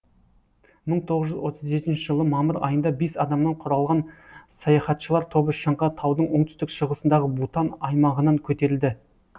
мың тоғыз жүз отыз жетінші жылы мамыр айында бес адамнан құралған саяхатшылар тобы шыңға таудың оңтүстік шығысындағы бутан аймағынан көтерілді